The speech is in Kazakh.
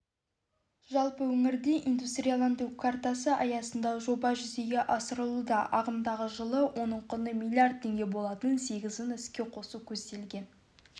жалпы өңірде индустрияландыру картасы аясында жоба жүзеге асырылуда ағымдағы жылы оның құны миллииард теңге болатын сегізін іске қосу көзделген